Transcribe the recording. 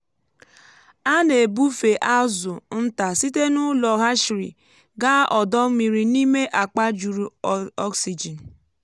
a na-ebufe azụ nta site n’ụlọ hatchery gaa ọdọ mmiri n’ime akpa juru oxygen.